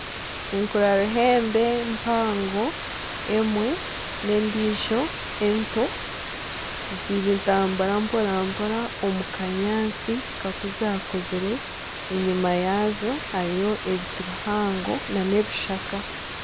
Enkura ruhembe mpango emwe n'endiijo ento nizitambura mpora mpora omu kanyaatsi kakuzire enyima yaazo hariyo ebiti bihango n'ebishaka.